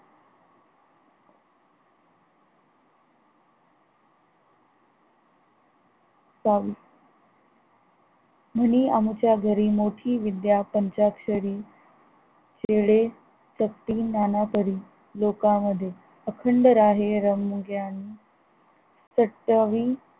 म्हणी आमुच्या घरी मोठी विद्या पंचाक्षरी खेळे तपी नानापरी लोकामध्ये अखंड राहे रमोग्यान सत्यावी